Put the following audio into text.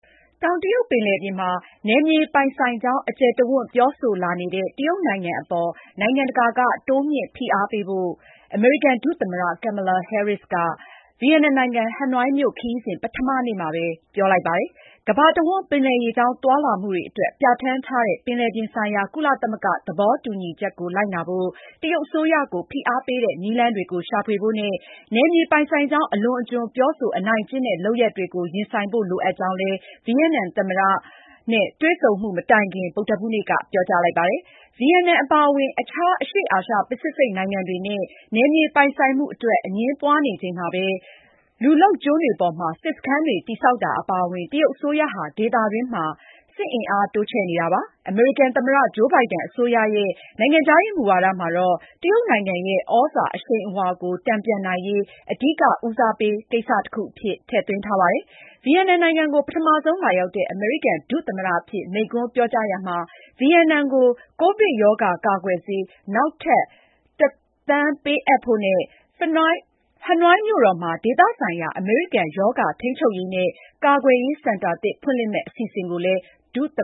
တောင်တရုတ်ပင်လယ်ပြင်မှာ နယ်မြေပိုင်ဆိုင်ကြောင်း အကျယ်တဝံ့ ပြောဆိုလာနေတဲ့ တရုတ်နိုင်ငံအပေါ် နိုင်ငံတကာက တိုးမြှင့်ဖိအားပေးဖို့ အမေရိကန် ဒုသမ္မတ Kamala Harris က ဗီယက်နမ်နိုင်ငံ ဟနွိုင်မြို့ ခရီးစဉ် ပထမနေ့မှာပဲ ပြောလိုက်ပါတယ်။ ကမ္ဘာတဝှမ်း ပင်လယ်ရေကြောင်း သွားလာမှုတွေအတွက် ပြဌာန်းထားတဲ့ ပင်လယ်ပြင်ဆိုင်ရာကုလသမဂ္ဂသဘောတူညီချက်ကို လိုက်နာဖို့ တရုတ်အစိုးရကို ဖိအားပေးတဲ့ နည်းလမ်းတွေကို ရှာဖွေဖို့နဲ့ နယ်မြေပိုင်ဆိုင်ကြောင်း အလွန်အကျွံ ပြောဆို အနိုင်ကျင့်တဲ့ လုပ်ရပ်တွေကို ရင်ဆိုင်ဖို့ လိုအပ်ကြောင်းလည်း ဗီယက်နမ် သမ္မတ Nguyen Xuan Phuc နဲ့ တွေ့ဆုံမှုမတိုင်ခင် ဗုဒ္ဓဟူးနေ့က ပြောကြားလိုက်တာပါ။ ဗီယက်နမ်အပါအဝင် အခြား အရှေ့အာရှ ပစိဖိတ်နိုင်ငံတွေနဲ့ နယ်မြေပိုင်ဆိုင်မှုအတွက် အငြင်းပွားနေချိန်မှာပဲ လူလုပ်ကျွန်း တွေပေါ်မှာ စစ်စခန်းတွေ တည်ဆောက်တာ အပါအဝင် တရုတ်အစိုးရဟာ ဒေသတွင်းမှာ စစ်အင်အား တိုးချဲ့နေတာပါ။ အမေရိကန်သမ္မတ Joe Biden အစိုးရရဲ့ နိုင်ငံခြားရေးရာ မူဝါဒမှာတော့ တရုတ်နိုင်ငံရဲ့ သြဇာအရှိန်အဝါကို တန်ပြန်နိုင်ရေး အဓိကဦးစားပေး ကိစ္စတခုအဖြစ် ထည့်သွင်းထားပါတယ်။ ဗီယက်နမ်နိုင်ငံကို ပထမဆုံးလာရောက်တဲ့ အမေရိကန် ဒုသမ္မတအဖြစ် မိန့်ခွန်းပြောကြားရာမှာ ဗီယက်နမ်ကို ကိုဗစ်ရောဂါ ကာကွယ်ဆေး နောက်ထပ် ၁ သန်း ပေးအပ်ဖို့နဲ့ ဟနွိုင်းမြို့တော်မှာ ဒေသဆိုင်ရာ အမေရိကန်ရောဂါထိန်းချုပ်ရေးနဲ့ ကာကွယ်ရေးစင်တာသစ် ဖွင့်လှစ်မယ့် အစီအစဉ်ကိုလည်း ဒုသမ